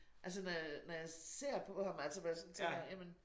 Altså når jeg når jeg ser på ham altså hvor jeg sådan tænker jamen